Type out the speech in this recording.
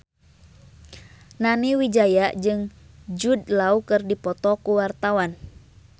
Nani Wijaya jeung Jude Law keur dipoto ku wartawan